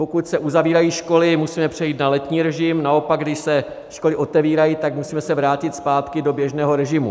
Pokud se uzavírají školy, musíme přejít na letní režim, naopak když se školy otevírají, tak se musíme vrátit zpátky do běžného režimu.